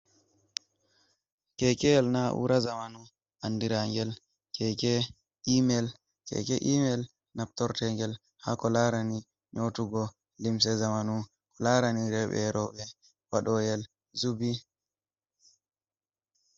Keekeyel na'uura zamanu anndiraangel keeke email. Keeke email naftorteengel haa ko larani nyootugo limse zamanu ko laarani rewɓe e rowɓe waɗooyel zubi.